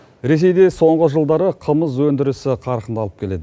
ресейде соңғы жылдары қымыз өндірісі қарқын алып келеді